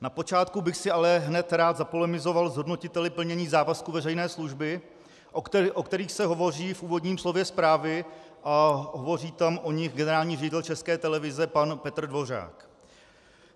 Na počátku bych si ale hned rád zapolemizoval s hodnotiteli plnění závazku veřejné služby, o kterých se hovoří v úvodním slově zprávy, a hovoří tam o nich generální ředitel České televize pan Petr Dvořák.